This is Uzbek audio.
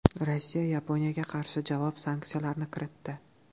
Rossiya Yaponiyaga qarshi javob sanksiyalarini kiritdi.